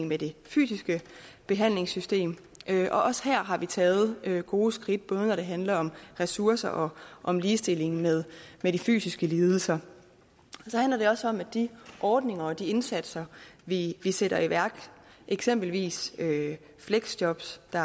med det fysiske behandlingssystem og også her har vi taget gode skridt både når det handler om ressourcer og om ligestilling med de fysiske lidelser så handler det også om at de ordninger og de indsatser vi sætter i værk eksempelvis fleksjobs der